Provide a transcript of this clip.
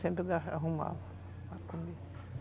Sempre arrumava.